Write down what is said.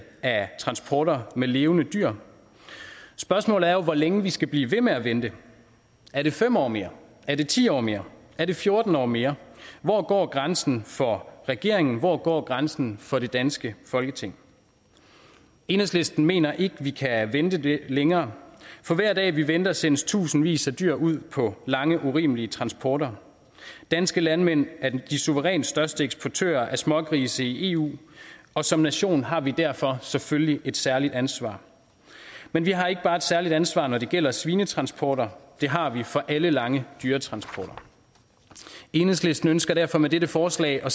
af transporter med levende dyr spørgsmålet er jo hvor længe vi skal blive ved med at vente er det fem år mere er det ti år mere er det fjorten år mere hvor går grænsen for regeringen hvor går grænsen for det danske folketing enhedslisten mener ikke at vi kan vente længere for hver dag vi venter sendes tusindvis af dyr ud på lange urimelige transporter danske landmænd er de suverænt største eksportører af smågrise i eu og som nation har vi derfor selvfølgelig et særligt ansvar men vi har ikke bare et særligt ansvar når det gælder svinetransporter det har vi for alle lange dyretransporter enhedslisten ønsker derfor med dette forslag at